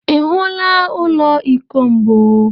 Ị hụla ụlọ iko mbụ?